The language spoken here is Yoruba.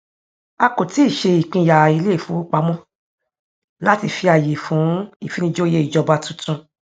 a kò tíì ṣe ìpínyà ilé ìfowópamọ láti fi àyè fún ìfinijòyè ìjọba tuntun